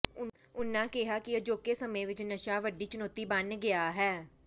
ਉਨ੍ਹਾਂ ਕਿਹਾ ਕਿ ਅਜੋਕੇ ਸਮੇਂ ਵਿੱਚ ਨਸ਼ਾ ਵੱਡੀ ਚੁਣੌਤੀ ਬਣ ਗਿਆ ਹੈ